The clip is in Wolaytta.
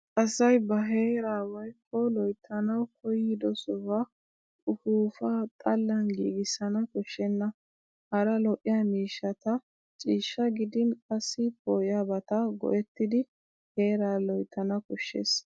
Asay ba heeraa woykko loyttanawu koyyido sohuwaa ufuuffaa xallan giigissana koshshenna. Hara lo'iya miishshata ciishshaa gidin qassi poo'iyabata go'ettidi heeraa loyttana koshshes.